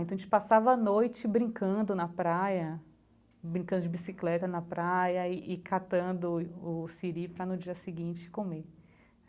Então, a gente passava a noite brincando na praia, brincando de bicicleta na praia e e catando o o siri para, no dia seguinte, comer.